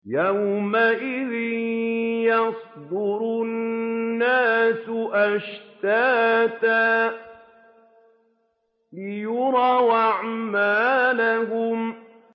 يَوْمَئِذٍ يَصْدُرُ النَّاسُ أَشْتَاتًا لِّيُرَوْا أَعْمَالَهُمْ